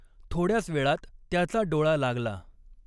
थॊड्याच वेळात त्याचा डॊळा लागला.